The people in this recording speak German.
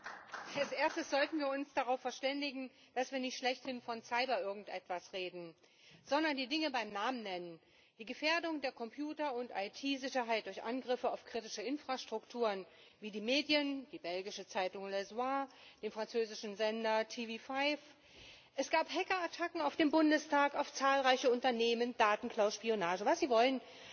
Frau Präsidentin! Als Erstes sollten wir uns darauf verständigen, dass wir nicht schlechthin von Cyber irgendetwas reden, sondern die Dinge beim Namen nennen die Gefährdung der Computer und IT Sicherheit durch Angriffe auf kritische Infrastrukturen wie die Medien, die belgische Zeitung den französischen Sender TV5, es gab Hackerattacken auf den Bundestag, auf zahlreiche Unternehmen, Datenklau, Spionage was Sie wollen